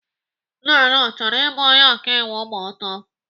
Nnanna ọ chọrọ ịbụ onye ọkaiwu ma ọ too?